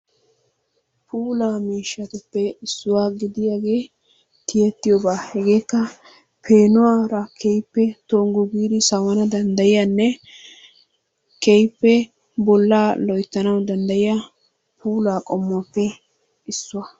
Puullaa miishshatuppe issuwa gidiyaagee tiyettiyoobaa hegeekka peenuwaara keehippe tonggu giidi sawana danddayiyaanne keehippe bollaa loyttanawu danddayiya puullaa qommuwaappe issuwa.